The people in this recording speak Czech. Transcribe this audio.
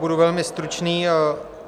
Budu velmi stručný.